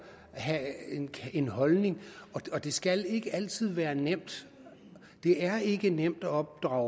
have en holdning og det skal ikke altid være nemt det er ikke nemt at opdrage